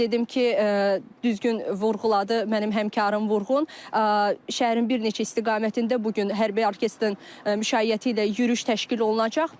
Qeyd edim ki, düzgün vurğuladı mənim həmkarım Vurğun, şəhərin bir neçə istiqamətində bu gün hərbi orkestrın müşayiəti ilə yürüş təşkil olunacaq.